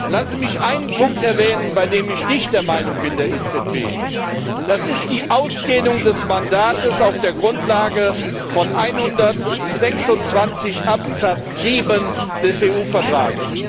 Lassen Sie mich einen Punkt erwähnen, bei dem ich nicht mit der EZB einer Meinung bin Das ist die Ausdehnung des Mandats auf der Grundlage von Artikel 126 Absatz 7 des EU Vertrags.